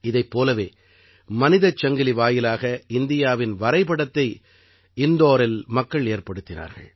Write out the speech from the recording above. இதைப் போலவே மனிதச் சங்கிலி வாயிலாக இந்தியாவின் வரைபடத்தை இந்தோரில் மக்கள் ஏற்படுத்தினார்கள்